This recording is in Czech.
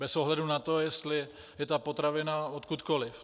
Bez ohledu na to, jestli je ta potravina odkudkoli.